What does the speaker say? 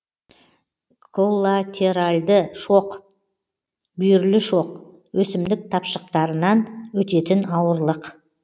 коллатеральды шоқ бүйірлік шоқ өсімдік тапшықтарынан өтетін ауырлық